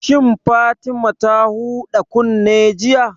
Shin Fatima ta huɗa kunne jiya?